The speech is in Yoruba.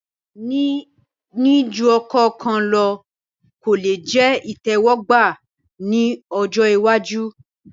Níní ju ọkọ kan lọ kò lè jẹ ìtẹ́wọ́gbà ní ọjọ́ iwájú